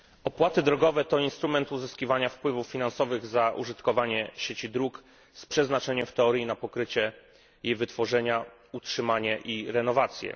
Pani Przewodnicząca! Opłaty drogowe to instrument uzyskiwania wpływów finansowych za użytkowanie sieci dróg z przeznaczeniem w teorii na pokrycie i wytworzenia, utrzymanie i renowację.